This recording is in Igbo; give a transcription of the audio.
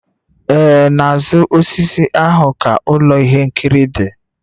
Ee, n'azụ osisi ahụ ka ụlọ ihe nkiri dị